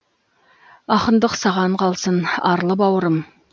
ақындық саған қалсын арлы баурым